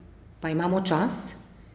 Pa imamo čas?